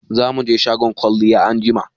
Za mu je shagon kwalliya anjima.